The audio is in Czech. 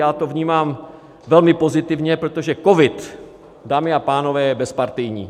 Já to vnímám velmi pozitivně, protože covid, dámy a pánové, je bezpartijní.